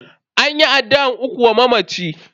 An yi addu'an ukun wa mamacin.